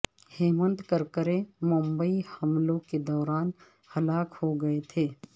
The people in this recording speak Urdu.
ہمینت کرکرے ممبئی حملوں کے دوران ہلاک ہوگئے تھے